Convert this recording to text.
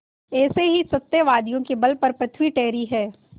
ऐसे ही सत्यवादियों के बल पर पृथ्वी ठहरी है